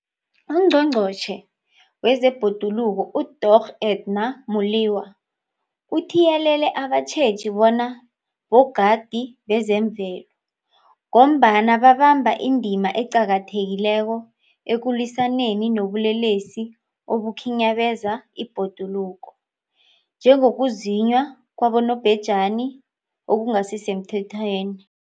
UNgqongqotjhe wezeBhoduluko uDorh Edna Molewa uthiyelele abatjheji bona bogadi bezemvelo, ngombana babamba indima eqakathekileko ekulwisaneni nobulelesi obukhinyabeza ibhoduluko, njengokuzunywa kwabobhejani okungasisemthethweni.